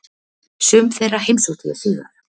Sum þeirra heimsótti ég síðar.